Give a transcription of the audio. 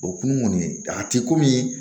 O kun kɔni a ti komi